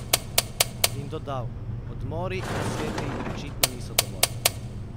In dodal: "Odmori in nasveti očitno niso dovolj.